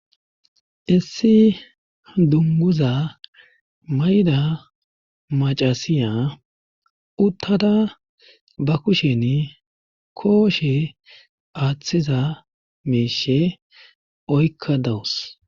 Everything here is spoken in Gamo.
Issi dunguza mayda macasiya uttada ba kushen kooshe aaththiza meeshe oykka dawus